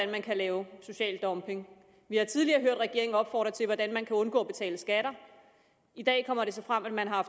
man kan lave social dumping vi har tidligere hørt regeringen opfordre til at undgå at betale skatter i dag kommer det så frem at man har